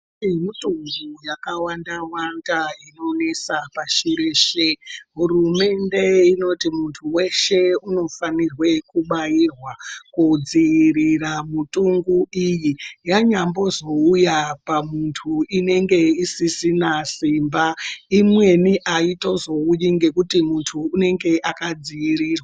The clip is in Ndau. Mitunju yakawanda wanda inonesa pashi reshe hurumende inoti munthu weshe unofanira kubairwa kudziirira mitungu iyi yanyazouya pamunthu inenge isisina simba imweni aitozouyi nekuti munthu unenge akadziirirwa.